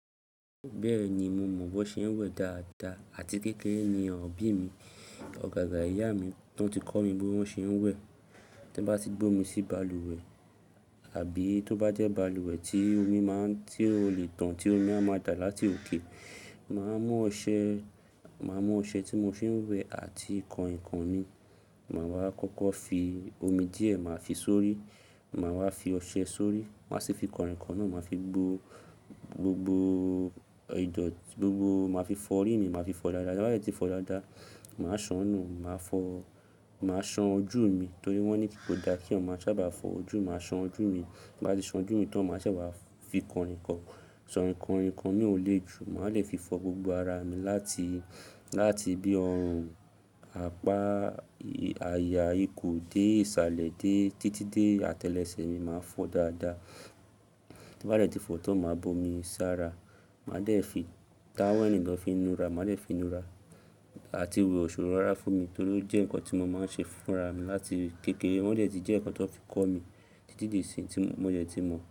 Bẹ́ẹ̀ ni, mo mọ̀ bó ṣe ń wẹ̀ dáadáa àti kékeré ni ọ̀bí mi, ọ̀gága ìyá mi tí wọ́n ti kọ́ mi bí wọ́n ṣe ń wẹ̀. Tí n bá ti gbe omi sí balùwẹ̀ àbí tó bá jẹ́ balùwẹ̀ tí omi máa ń tí ó le tàn, tí omi a máa dà láti òkè, màá mú ọṣẹ, màá mú ọṣẹ tí mo fi ń wẹ̀ àti kàninkàn mi, màá wá kọ́kọ́ fi omi díẹ̀ màá fi sórí, màá wá fi ọṣẹ sórí, màá sì fi kànrìnkàn náà màá fi gbó gbogbo ìdọ̀tí, gbogbo màá fi fọ́ ori mi, màá fi fọ dáadáa. Tin bá dẹ́ tí fọ̀ dáadáa, màá sàn nú, màá fọ̀, màá san ojú mi torí wọ́n ní kò dá kí eeyan maa sábà fọ́ ojú. Màá san ojú mi, ti n bá ti san ojú mi tán màá se wá fi kànrìnkàn, ṣàn kànrìnkàn mi ò lé jù. Màá lè fi fọ́ gbogbo ara mi láti, láti bí ọrùn, apá, àyà, ikùn dé, ìsàlẹ̀ dé títí dé atẹ́lẹsẹ̀ mi máa ń fọ́ dáadáa. Tí n bá dẹ́ tí fọ́ tán màá bo mi sára, màá dẹ̀ fi táwẹ́ẹ̀lì ló fi ń nu ara, màá dẹ̀ fi nu ara àti we òṣorò rára fún mi torí ó jẹ́ nǹkan tí mo máa ń ṣe fúnra mi láti kékeré. O dẹ̀ ti jẹ́ nǹkan ti won fi kọ́ mi títí di ìsin tí mo dẹ̀ ti mọ̀.